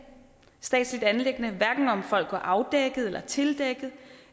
statsligt anliggende om folk går afdækkede eller tildækkede